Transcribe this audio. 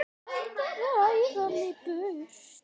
Hættu að hræða mig burt.